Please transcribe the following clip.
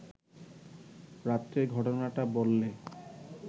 রাত্রের ঘটনাটা বললে